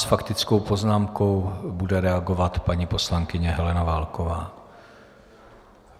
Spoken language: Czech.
S faktickou poznámkou bude reagovat paní poslankyně Helena Válková.